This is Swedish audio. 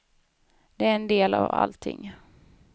Det är en del av allting.